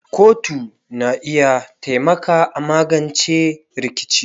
kotu na iya taimaka a magance rikici.